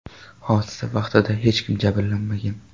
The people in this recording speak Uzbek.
Hodisa vaqtida hech kim jabrlanmagan.